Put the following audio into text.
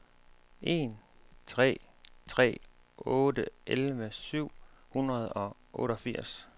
en tre tre otte elleve syv hundrede og otteogfirs